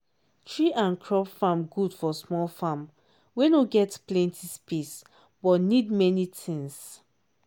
tree and crop farm good for small farm wey no get plenty space but need many things